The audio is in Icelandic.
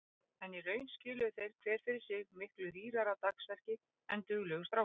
En í raun skiluðu þeir hver fyrir sig miklu rýrara dagsverki en duglegur strákur.